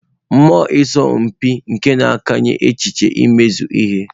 Mmụọ ịsọ mpi na-akụnye echiche nke imezu ihe.